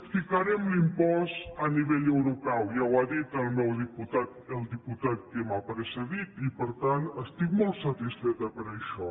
ficarem l’impost a nivell europeu ja ho ha dit el diputat que m’ha precedit i per tant estic molt satisfeta per això